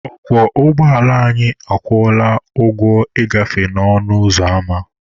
Ọkwọ ụgbọala anyị akwụọla ụgwọ ịgafe ọnụ ụzọ ama.